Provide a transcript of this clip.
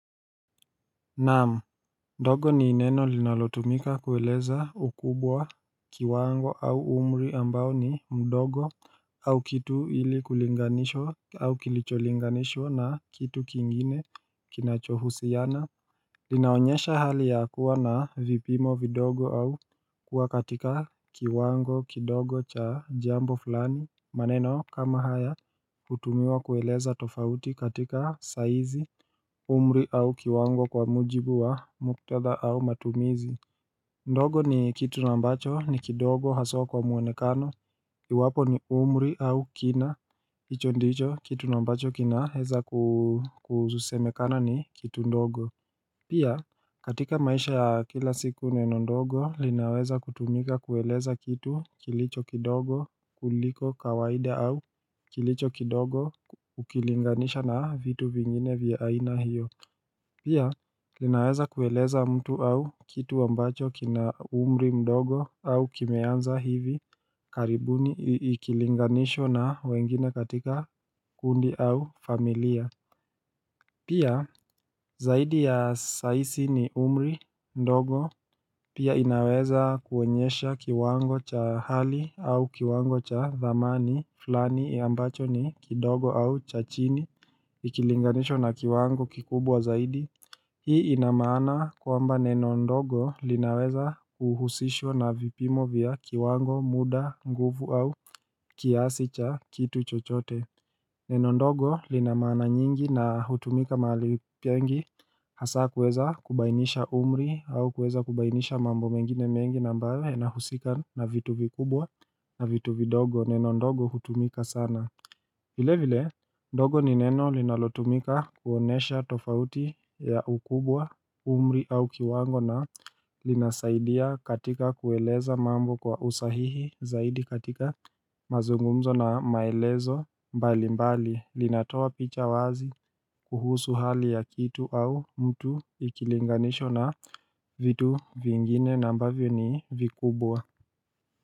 Naam, dogo ni neno linalotumika kueleza ukubwa kiwango au umri ambao ni mdogo au kitu ili kulinganishwa au kilicholinganishwa na kitu kingine kinachohusiana Linaonyesha hali ya kuwa na vipimo vidogo au kuwa katika kiwango kidogo cha jambo fulani maneno kama haya hutumiwa kueleza tofauti katika saizi umri au kiwango kwa mujibu wa muktadha au matumizi ndogo ni kitu na ambacho ni kidogo haswa kwa muoenekano kiwapo ni umri au kina hicho ndicho kitu na ambacho kina hewa kuzusemekana ni kitu ndogo Pia katika maisha ya kila siku neno ndogo linaweza kutumika kueleza kitu kilicho kidogo kuliko kawaida au kilicho kidogo ukilinganisha na vitu vingine vya aina hiyo Pia linaweza kueleza mtu au kitu ambacho kina umri mdogo au kimeanza hivi karibuni ikilinganishwa na wengine katika kundi au familia Pia, zaidi ya saisi ni umri, ndogo, pia inaweza kuoenyesha kiwango cha hali au kiwango cha dhamani, fulani ya ambacho ni kidogo au cha chini, ikilinganishwa na kiwango kikubwa zaidi. Hii inamaana kwamba nenondogo linaweza uhusishwa na vipimo vya kiwango, muda, nguvu au kiasi cha kitu chochote. Neno ndogo linamaana nyingi na hutumika mahali pengi hasa kuweza kubainisha umri au kuweza kubainisha mambo mengine mengi na ambayo yanahusika na vitu vikubwa na vitu vidogo neno ndogo hutumika sana vile vile ndogo ni neno linalotumika kuonesha tofauti ya ukubwa umri au kiwango na linasaidia katika kueleza mambo kwa usahihi zaidi katika mazungumzo na maelezo mbali mbali linatoa picha wazi kuhusu hali ya kitu au mtu ikilinganishwa na vitu vingine na ambavyo ni vikubwa.